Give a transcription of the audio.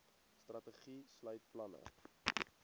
strategie sluit planne